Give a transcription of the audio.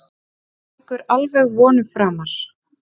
En gengur alveg vonum framar.